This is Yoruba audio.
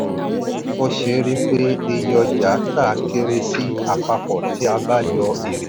ó ṣeé rí i pé iye ọjà tà kere sí àpapọ̀ tí a bá yọ èrè.